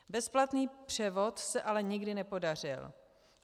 Bezplatný převod se ale nikdy nepodařil.